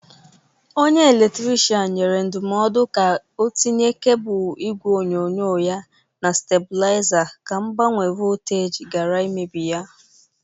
Onye eletrikrishan nyere ya ndọmọdụ ka o tinye kebụl igwe onyonyo ya na stabụlịaza ka mgbanwe volteji gara imebi ya.